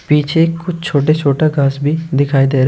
पीछे कुछ छोटे छोटे घास भी दिखाई दे रहे--